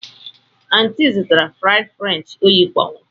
Aunty zụtara fries french oyi kpọnwụrụ.